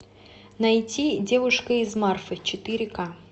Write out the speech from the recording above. найти девушка из марфы четыре ка